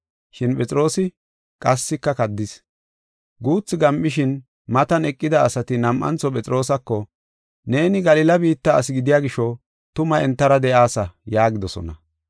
Shin Phexroosi qassika kaddis. Guuthu gam7ishin, matan eqida asati nam7antho Phexroosako, “Neeni Galila biitta asi gidiya gisho tuma entara de7aasa” yaagidosona.